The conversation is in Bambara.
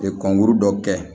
kɔnkuru dɔ kɛ